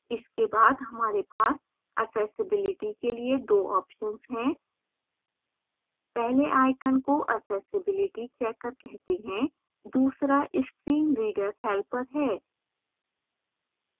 इसके बाद हमारे पास accessibility के लिए 2 options हैं पहले icon को accessibility checker कहते हैं दूसरा screen reader helper है